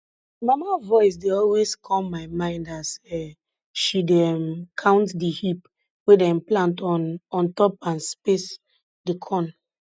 mama voice dey always come my mind as um she dey um count di heap wey dem plant on on top and space di corn